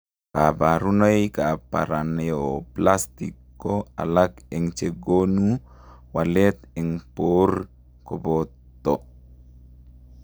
Kabarunoik ap paraneoplastic ko alak eng chegonuu waleet eng poor kopotoo